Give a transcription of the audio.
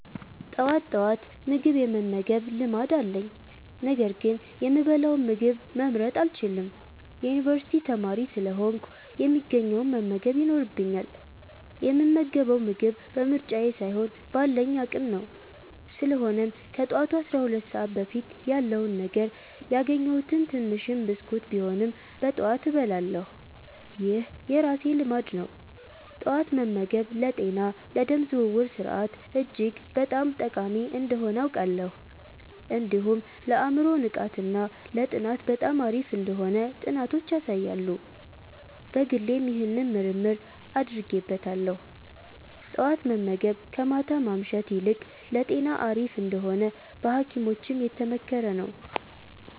ጠዋት ጠዋት ምግብ የመመገብ ልማድ አለኝ፤ ነገር ግን የምበላውን ምግብ መምረጥ አልችልም። የዩኒቨርሲቲ ተማሪ ስለሆንኩ፣ የሚገኘውን መመገብ ይኖርብኛል፣ የምመገበው ምግብ በምርጫዬ ሳይሆን ባለኝ አቅም ነው። ስለሆነም ከጠዋቱ 12 ሰዓት በፊት ያለውን ነገር፣ ያገኘሁትን ትንሽም ብስኩት ቢሆንም በጠዋት እበላለሁ። ይህ የራሴ ልማድ ነው። ጠዋት መመገብ ለጤና፣ ለደም ዝውውር ስርዓት እጅግ በጣም ጠቃሚ እንደሆነ አውቃለሁ። እንዲሁም ለአእምሮ ንቃት እና ለጥናት በጣም አሪፍ እንደሆነ ጥናቶች ያሳያሉ። በግሌም ይህንን ምርምር አድርጌበታለሁ። ጠዋት መመገብ ከማታ ማምሸት ይልቅ ለጤና አሪፍ እንደሆነ በሀኪሞችም የተመከረ ነው።